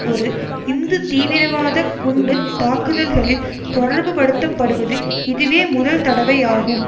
ஒரு இந்து தீவிரவாத குண்டு தாக்குதல்களில் தொடர்பு படுத்தப்படுவது இதுவே முதல் தடவையாகும்